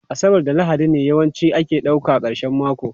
Asabar da Lahadi ne yawanci ake ɗauka karshen mako